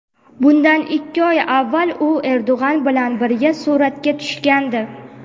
Bundan ikki oy avval u Erdo‘g‘on bilan birga suratga tushgandi.